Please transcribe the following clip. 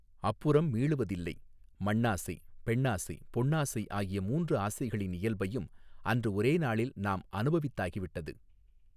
அப்புறம் மீளுவதில்லை மண்ணாசை பெண்ணாசை பொன்னாசை ஆகிய மூன்று ஆசைகளின் இயல்பையும் அன்று ஒரே நாளில் நாம் அனுபவித்தாகி விட்டது.